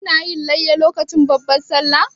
Kina yin layya lokacin babban Sallah?